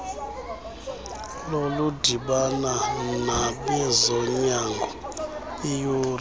lokudibana nabezonyango iyure